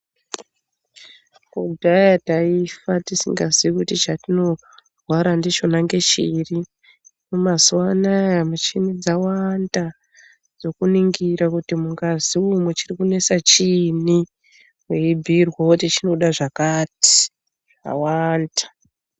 Kudhaya taifa tisinga zii kuti chatinorwara ndichona ngechiri. Mazuva anaya michini dzawanda dzekuningira kuti mungazi umu chirikinesa chiinyi, weibhuirwa kuti chinoda zvakati zvawanda.